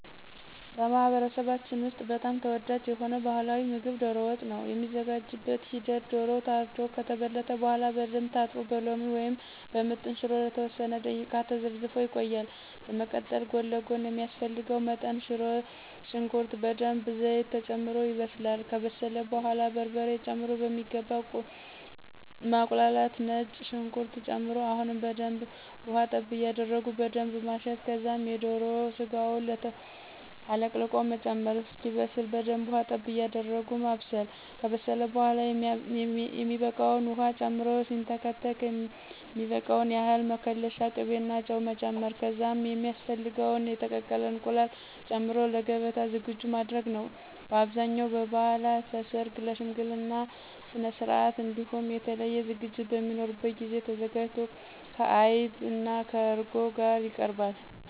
በማህበረሰባችን ውስጥ በጣም ተወዳጅ የሆነው ባህላዊ ምግብ ዶሮ ወጥ ነው። የሚዘጋጅበት ሂደትም ዶሮው ታርዶ ከተበለተ በኃላ በደንብ ታጥቦ በሎሚ ወይም በምጥን ሽሮ ለተወሰነ ደቂቃ ተዘፍዝፎ ይቆያል፤ በመቀጠል ጎን ለጎን ሚያስፈልገው መጠን ሽንኩርት በደንብ ዘይት ተጨምሮ ይበስላል፤ ከበሰለ በኃላ በርበሬ ጨምሮ በሚገባ ማቁላላት፤ ነጭ ሽንኩርት ጨምሮ አሁንም በደንብ ውሀ ጠብ ያደረጉ በደንብ ማሸት ከዛም የዶሮ ስጋውን አለቅልቆ መጨመር፣ እስኪበስ በደንብ ውሃ ጠብ ያደረጉ ማብሰል፤ ከበሰለ በኃላ የሚበቃውን ዉሃ ጨምሮ ሲንተከተክ የሚበቃውን ያህል መከለሻ፣ ቅቤና ጨው መጨመር ከዛም ሚያስፈልገውን የተቀቀለ እንቁላል ጨምሮ ለገበታ ዝግጁ ማድረግ ነዉ። በአብዛኛው በበዓላት፣ ለሠርግ፣ ለሽምግልና ስነስርዓት እንዲሁም የተለየ ዝግጅት በሚኖርበት ጊዜ ተዘጋጅቶ ከዐይብ(ከእርጎ) ጋር ይቀርባል።